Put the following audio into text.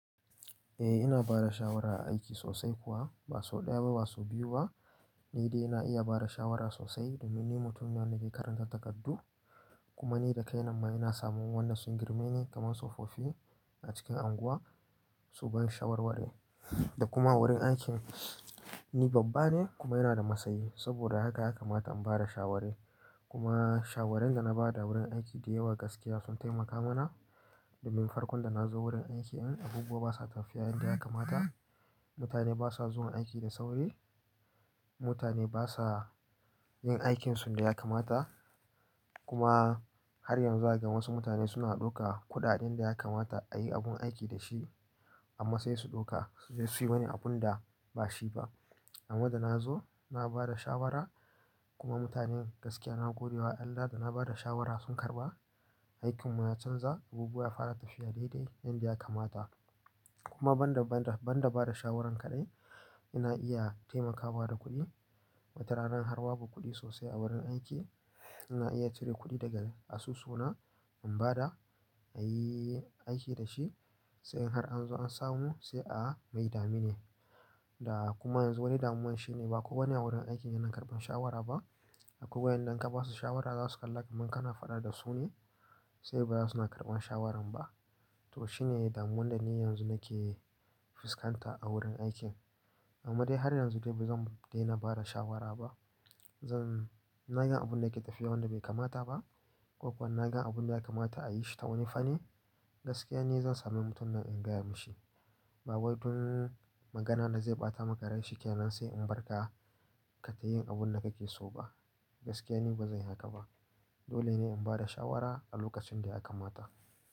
Eh ina bada shawara aiki sosai kuwa ba sau ɗaya ba sau biyu ba ni dai ina iya bada shawara sosai domin ni mutum ne wanda zai karantar takardu kuma ni dakaina ma ina samun wannan sun girme ni kamar tsofaffi a cikin unguwa su ban shawarwari da kuma wurin aikin ni babba ne kuma ina da matsayi saboda haka yakamata in bada shawari kuma shawarar da na bada wurin aiki da yawa gaskiya sun taimaka mana domin farkon da nazo wurin aiki an abubuwa basa tafiya yanda yakamata mutane basa zuwa aiki da sauri mutane basa yin aikinsu da yakamata kuma har yanzu zakaga wasu mutane suna ɗauka kuɗaɗin da yakamata a yi abun aiki da shi amma sai su ɗauka suje suyi wani abun da bashi ba amma da nazo na bada shawara kuma mutanen gaskiya na godewa Allah da na bada shawara sun karɓa aikinmu ya canza abubuwa ya fara tafiya daidai yanda yakamata kuma banda banda banda bada shawaran kaɗai ina iya taimakawa da kuɗi watarana har ba kuɗi sosai a wurin aiki ina iya cire kuɗi daga asusuna in bada a yi aiki da shi sai in har anzo an samu sai a a mai dami ne da kuma yanzu wani damuwan shine baku wane a wurin aiki yana karɓan shawara ba akwai ƴanda in ka basu shawara za su kalla kamar kana faɗa da su ne sai baza suna karɓan shawaran ba to shine damuwan da ni yanzu nake fuskanta a wurin aikin amma dai har yanzu dai bazan dena bada shawara ba zan na gan abun da yake tafiya wanda bai kamata ba ko kuwa na gan abun da yakamata a yi shi ta wani fani gaskiya ni zan sami mutum nan in gaya mashi ba wai don magana da zai ɓata maka rai shikenan sai in barka ka tayi abun da kake so ba gaskiya ni bazan yi haka ba dole ne in bada shawara a lokacin da yakamata.